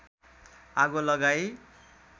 आगो लगाई